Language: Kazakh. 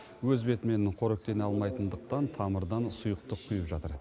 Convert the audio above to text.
өз бетімен қоректене алмайтындықтан тамырдан сұйықтық құйып жатыр